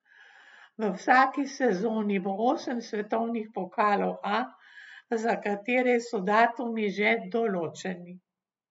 V vsaki sezoni bo osem svetovnih pokalov A, za katere so datumi že določeni.